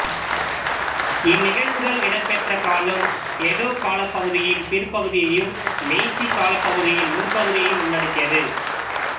இந்நிகழ்வுகள் இடம்பெற்ற காலம் எடோ காலப்பகுதியின் பிற்பகுதியையும் மெய்சி காலப்பகுதியின் முற்பகுதியையும் உள்ளடக்கியது